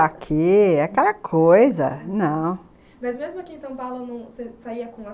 Aqui, aquela coisa... não... mas mesmo aqui em São Paulo,